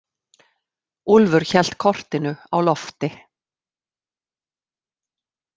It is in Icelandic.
Úlfur hélt kortinu á lofti.